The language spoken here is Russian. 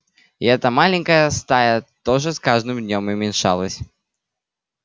и эта маленькая стая тоже с каждым днём уменьшалась